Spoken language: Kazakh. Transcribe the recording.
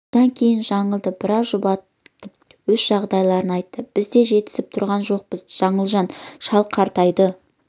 содан кейін жаңылды біраз жұбатып өз жағдайларын айтты біз де жетісіп тұрған жоқпыз жаңылжан шал қартайды